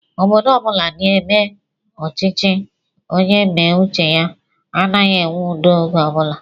Obodo ọbula n'eme ọchịchị onye méé uche ya anaghị enwe udo ógè ọbula